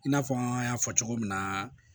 I n'a fɔ an y'a fɔ cogo min na